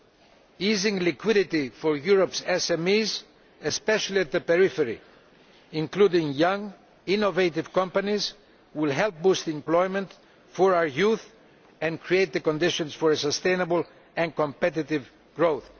we see it, easing liquidity for Europe's SMEs, especially at the periphery and including young innovative companies, will help to boost employment for our youth and to create the conditions for sustainable and competitive growth.